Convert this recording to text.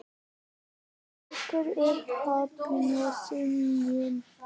Hún strýkur um kollinn á syninum.